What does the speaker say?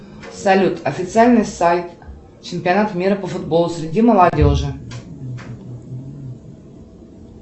салют официальный сайт чемпионата мира по футболу среди молодежи